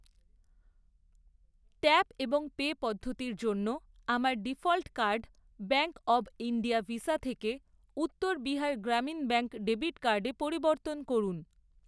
Tap এবং pay পদ্ধতির জন্য আমার default card bank of India Visa থেকে উত্তর বিহার গ্রামীণ ব্যাঙ্ক ডেবিট কার্ডে পরিবর্তন করুন।